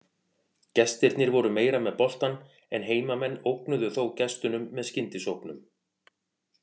Gestirnir voru meira með boltann en heimamenn ógnuðu þó gestunum með skyndisóknum.